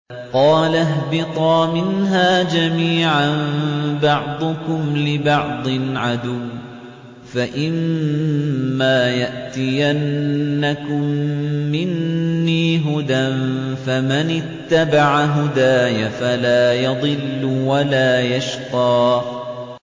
قَالَ اهْبِطَا مِنْهَا جَمِيعًا ۖ بَعْضُكُمْ لِبَعْضٍ عَدُوٌّ ۖ فَإِمَّا يَأْتِيَنَّكُم مِّنِّي هُدًى فَمَنِ اتَّبَعَ هُدَايَ فَلَا يَضِلُّ وَلَا يَشْقَىٰ